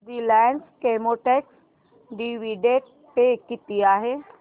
Reliance Chemotex dividend pay किती आहे